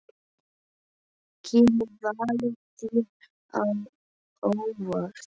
Kemur valið þér á óvart?